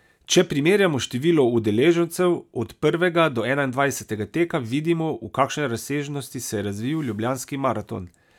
Če primerjamo število udeležencev od prvega do enaindvajsetega teka, vidimo, v kakšne razsežnosti se je razvil Ljubljanski maraton.